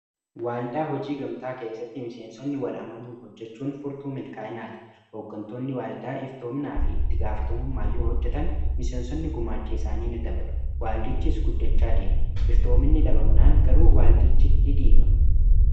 waaldaa hojii gamtaa keessatti miseensonni wal'amanuun hojjechuun furtuu milkaa'inaati ooggantoonni waaldaa iftoomnaa fi itti gaafatamummaa yuu hojjetan miseensonni gumaachi isaanii ni dabalu waaldichi is guddechaa di'am iftoominni dhabamnaan garuu waaldichi ni dhiigam